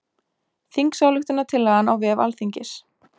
Þingsályktunartillagan á vef Alþingis